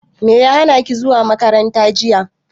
Me ya hanaki zuwa makaranta jiya.